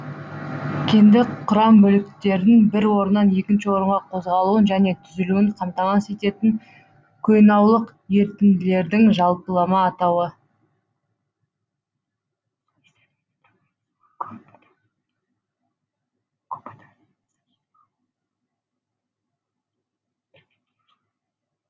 кенді құрам бөліктерінің бір орнынан екінші орынға қозғалуын және түзілуін қамтамасыз ететін қойнаулык ерітінділердің жалпылама атауы